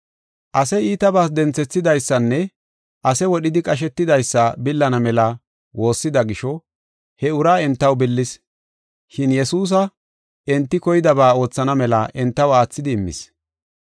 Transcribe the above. Ase iitabas denthethidaysanne ase wodhidi qashetidaysa billana mela woossida gisho he uraa entaw billis. Shin Yesuusa enti koydaba oothana mela entaw aathidi immis.